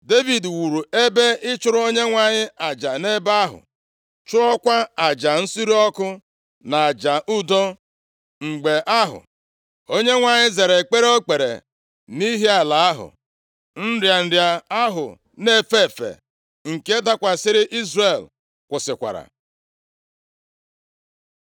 Devid wuru ebe ịchụrụ Onyenwe anyị aja nʼebe ahụ. Chụọkwa aja nsure ọkụ na aja udo. Mgbe ahụ, Onyenwe anyị zara ekpere o kpere nʼihi ala ahụ. Nrịa nrịa ahụ na-efe efe nke dakwasịrị Izrel kwụsịkwara.